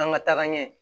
An ka taga ɲɛ